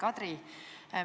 Hea Kadri!